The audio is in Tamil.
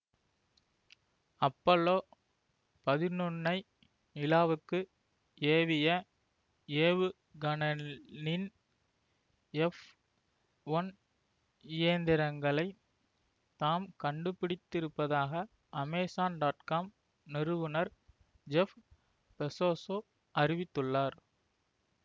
அப்பல்லோ பதினொன்னு ஐ நிலாவுக்கு ஏவிய ஏவுகனலின் எஃப் ஒன் இயந்திரங்களைத் தாம் கண்டுபிடித்திருப்பதாக அமேசான்காம் நிறுவனர் ஜெஃப் பெசோசு அறிவித்துள்ளார்